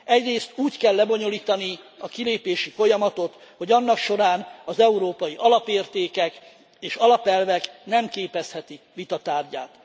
Egyrészt úgy kell lebonyolítani a kilépési folyamatot, hogy annak során az európai alapértékek és alapelvek nem képezhetik vita tárgyát.